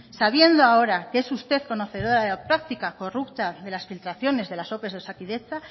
sabiendo ahora que es usted conocedora de la práctica corrupta de las filtraciones de las ope de osakidetza